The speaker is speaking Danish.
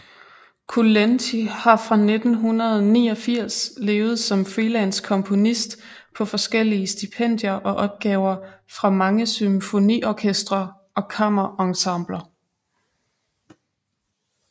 Kulenty har fra 1989 levet som freelance komponist på forskellige stipendier og opgaver fra mange symfoniorkestre og kammerensembler